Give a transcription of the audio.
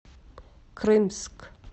крымск